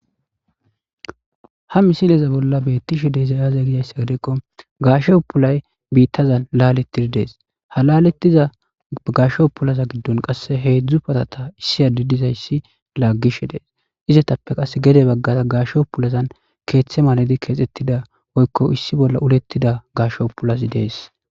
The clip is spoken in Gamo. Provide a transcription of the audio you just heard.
Ha misileze bolla beettishe deeizayaze giyayssa gidekko gaashe upulay biittazan laaletid dees halalettiza gasho upulaza giddon qasse heedzdzu patata issiya didizayssi laaggish dees izetappe qas gede baggara gaasho pulazan keeththe maladi keexettida woykko issi bolla ulettida gasho pulasi dees.